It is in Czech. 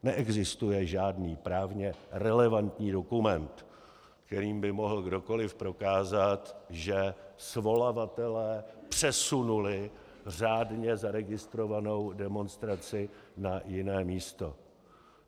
Neexistuje žádný právně relevantní dokument, kterým by mohl kdokoliv prokázat, že svolavatelé přesunuli řádně zaregistrovanou demonstraci na jiné místo.